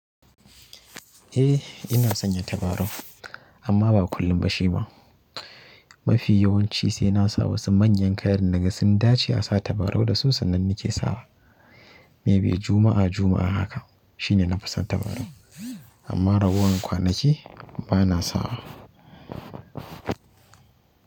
Eh ina sanya tabarau amma ba kullum ba shi ma. Mafi yawanci sai na sa wasu manyan kayan da na ga sun dace a sa tabarau da su sannan ni ke sawa. Maybe Juma'a Juma'a haka shine na fasa tabarau amma ragowar kwanaki ba na sawa.